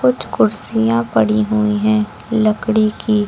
कुछ कुर्सियां पड़ी हुई हैं लकड़ी की।